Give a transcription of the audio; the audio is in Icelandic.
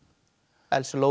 Elsu Lóu